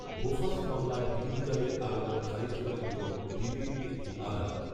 Bofors মামলায় হিন্দুজাদের আবেদন খারিজ করে দিল দিল্লির একটি আদালত